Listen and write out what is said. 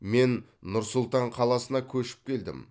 мен нұр сұлтан қаласына көшіп келдім